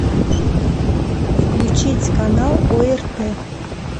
включить канал орт